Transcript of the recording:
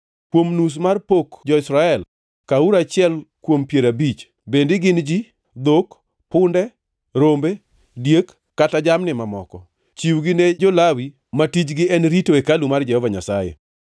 Kuom nus mar pok jo-Israel kawuru achiel kuom piero abich, bed ni gin ji, dhok, punde, rombe, diek kata jamni mamoko. Chiwgi ne jo-Lawi ma tijgi en rito hekalu mar Jehova Nyasaye.”